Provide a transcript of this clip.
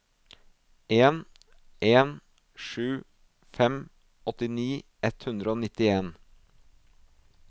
en en sju fem åttini ett hundre og nittien